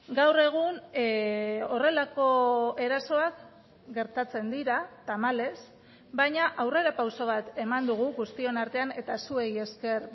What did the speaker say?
gaur egun horrelako erasoak gertatzen dira tamalez baina aurrerapauso bat eman dugu guztion artean eta zuei esker